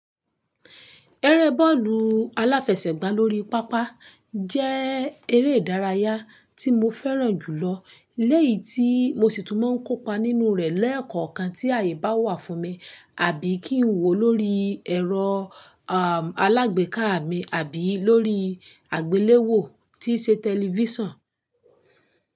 Ẹrẹ́ bọ́ọ̀lù aláfẹsẹ̀gbá lórí pápá jẹ́ eré ìdárayá tí mo fẹ́ràn jùlọ, léyì tí mo sì tún máa ń kópa nínú rẹ̀ lẹ́ẹ̀kọ̀kan tí àyè bá wà fún mi, àbí kí n wò ó lórí ẹ̀rọ, erm, alágbèéká mi, àbí lórí àgbéléwò tí ṣe tẹlifísàn.